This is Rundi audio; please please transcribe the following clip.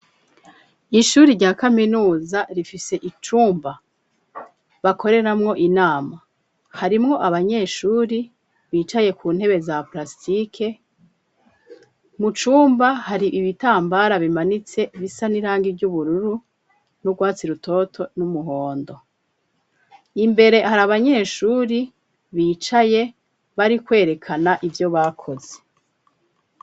Ishure rya kaminuza rifise icumba bakoreramwo inama, harimwo abanyeshure bicaye ku ntebe za palasitike, mu cumba hari ibitambara bimanitse bisa n'irangi ry'ubururu, n'urwatsi rutoto, n'umuhondo. Imbere hari abanyeshure bicaye, bari kwerekana ivyo bakoze.